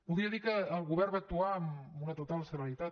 podria dir que el govern va actuar amb una total celeritat